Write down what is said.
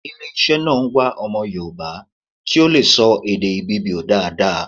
Ile iṣẹ́ náà ń wá ọmọ Yorùbá ti ó lè sọ èdè Ibibio dáadáa